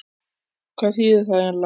Hvað þýðir það eiginlega?